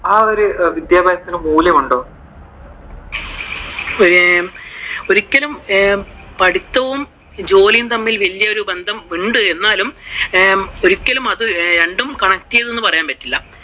ആ ഒരു വിദ്യാഭ്യാസത്തിനു മൂല്യമുണ്ടോ? ഒരു ആഹ് ഒരിക്കലും പഠിത്തവും ജോലിയും തമ്മിൽ വലിയ ഒരു ബന്ധമുണ്ട് എന്നാലും ഒരിക്കലും അത് രണ്ടും connect ചെയ്തു എന്ന് പറയാൻ പറ്റൂല.